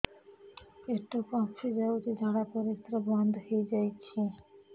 ପେଟ ଫାମ୍ପି ଯାଇଛି ଝାଡ଼ା ପରିସ୍ରା ବନ୍ଦ ହେଇଯାଇଛି